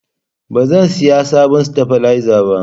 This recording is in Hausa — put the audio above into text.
Ba zan sayi sabon stabilizer ba